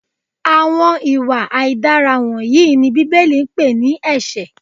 Àwọn ìwà aidara wọnyìí ni Bíbélì pè ní ẹsẹ.